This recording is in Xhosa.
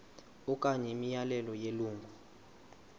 okanye imiyalelo yelungu